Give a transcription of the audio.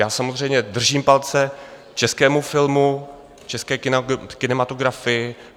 Já samozřejmě držím palce českému filmu, české kinematografii.